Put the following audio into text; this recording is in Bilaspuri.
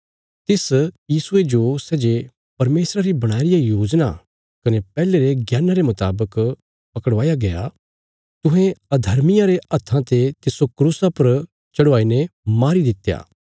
तिस यीशुये जो सै जे परमेशरा री बणाई रिया योजना कने पैहले रे ज्ञाना रे मुतावक पकड़वाया गया तुहें अर्धमियां रे हत्था ते तिस्सो क्रूसा पर चढ़वाई ने मारी दित्या